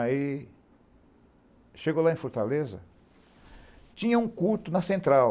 Aí, chegou lá em Fortaleza, tinha um culto na central.